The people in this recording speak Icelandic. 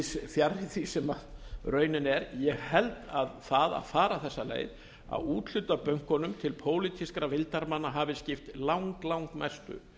víðs fjarri því sem raunin er ég held að það að fara þessa leið að úthluta bönkunum til pólitískra vildarmanna hafi skipt langmestu